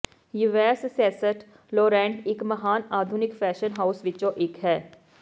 Yves Saint Laurent ਇੱਕ ਮਹਾਨ ਆਧੁਨਿਕ ਫੈਸ਼ਨ ਹਾਉਸ ਵਿੱਚੋਂ ਇੱਕ ਹੈ